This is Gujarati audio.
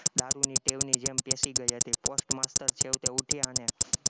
દારૂની ટેવની જેમ પેસી ગઈ હતી postmaster છેવટે ઉઠ્યા અને